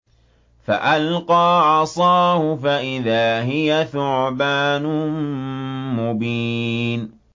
فَأَلْقَىٰ عَصَاهُ فَإِذَا هِيَ ثُعْبَانٌ مُّبِينٌ